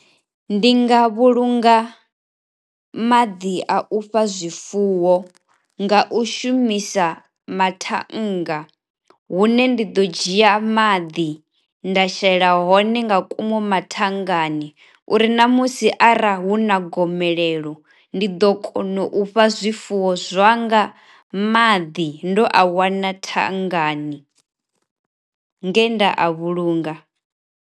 Ndi nga vhulunga maḓi a u fha zwifuwo nga u shumisa mathannga hune ndi ḓo dzhia maḓi nda shela hone nga ngomu mathangani uri ṋamusi arali hu na gomelelo ndi ḓo kona u fha zwifuwo zwanga maḓi ndo a wana thangani nge nda a vhulunga.